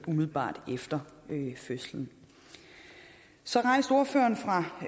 umiddelbart efter fødslen så rejste ordføreren for